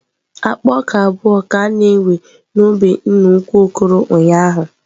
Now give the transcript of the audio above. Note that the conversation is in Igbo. Akpa ọka abụọ ka a na-ewe n'ubi nna ukwu Okoro ụnyaahụ.